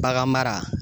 Bagan mara